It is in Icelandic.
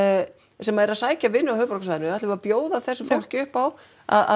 sem eru að sækja vinnu á höfuðborgarsvæðinu ætlum við að bjóða þessu fólki upp á að